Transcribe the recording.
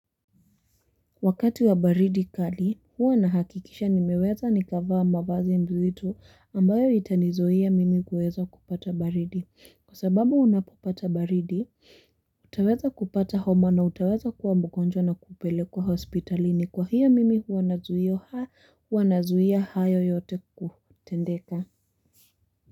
Wakati wa baridi kali, huwa nahakikisha nimeweza nikavaa mavazi mzito ambayo itanizuia mimi kueza kupata baridi. Kwa sababu unapopata baridi, utaweza kupata homa na utaweza kuwa mgonjwa na kupelekwa hospitalini. Kwa hiyo mimi huwa nazuia hayo yote kutendeka.